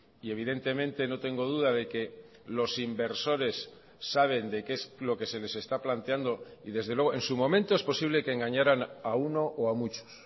y evidentemente no tengo duda de que los inversores saben de qué es lo que se les está planteando y desde luego en su momento es posible que engañaran a uno o a muchos